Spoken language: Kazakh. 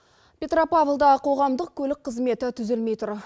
петропавлда қоғамдық көлік қызметі түзелмей тұр